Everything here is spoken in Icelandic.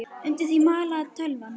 Undir því malaði tölvan.